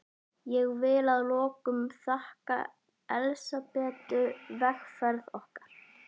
Ég vil að lokum þakka Elsabetu vegferð okkar.